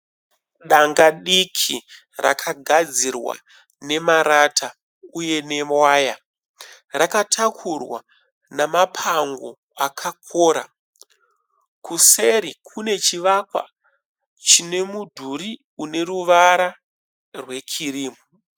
Danga diki rakagadzirwa nemarata uye newaya. Rakatakurwa namapango akakora. Kuseri kune chivakwa chine mudhuri une ruvara rwe kirimu.